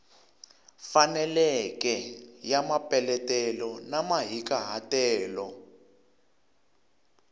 faneleke ya mapeletelo na mahikahatelo